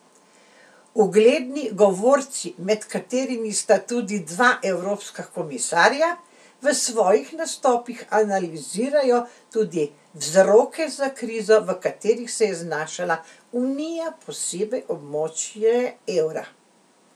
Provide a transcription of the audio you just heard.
Ugledni govorci, med katerimi sta tudi dva evropska komisarja, v svojih nastopih analizirajo tudi vzroke za krizo, v kateri se je znašla unija, posebej območje evra.